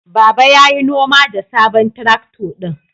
Baba ya yi noma da sabon traktor ɗin.